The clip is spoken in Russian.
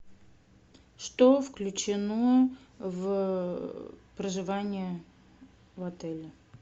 что включено в проживание в отеле